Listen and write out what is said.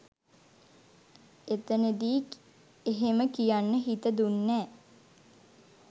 එතනදි එහෙම කියන්න හිත දුන්නෑ